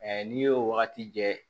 n'i y'o wagati kɛ